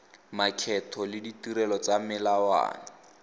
makgetho le ditirelo tsa melelwane